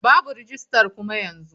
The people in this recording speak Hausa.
Babu rajistar kuma yanzu.